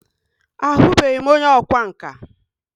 A hụbeghi m onye ọkwa nka.